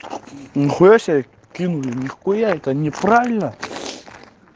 нихуя себе кинул нихуя это неправильно